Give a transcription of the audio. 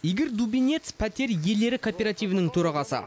игорь дубинец пәтер иелері кооперативінің төрағасы